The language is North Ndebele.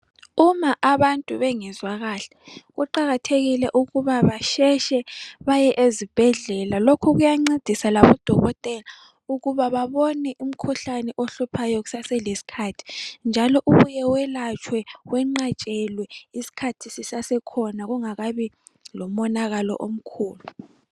Uma abantu bengezwa kahle kuqakathekile ukuba baphangise baye ezibhedlela lokhu kuyancedisa labodokotela ukuba babone umkhuhlane ohluphayo kusase lesikhathi njalo ubuye welatshwe wenqatshelwe isikhathi sisasekhona kungakabi lomonakalo omkhulu.